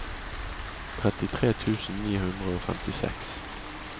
trettitre tusen ni hundre og femtiseks